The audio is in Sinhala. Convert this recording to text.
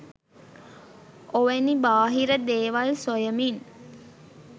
ඔවැනි බාහිර දේවල් සොයමින්